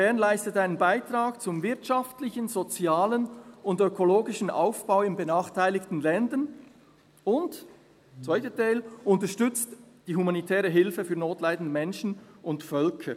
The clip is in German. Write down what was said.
Bern] leistet einen Beitrag zum wirtschaftlichen, sozialen und ökologischen Aufbau in benachteiligten Ländern und unterstützt die humanitäre Hilfe für notleidende Menschen und Völker.